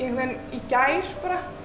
veginn í gær bara